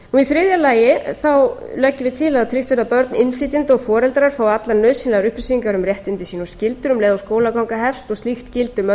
þriðja að tryggt verði að börn innflytjenda og foreldrar þeirra fái allar nauðsynlegar upplýsingar um réttindi sín og skyldur um leið og skólaganga hefst og slíkt gildi um öll